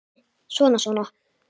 Svona. svona